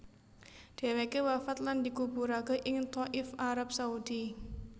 Dheweke wafat lan dikuburake ing Thaif Arab Saudi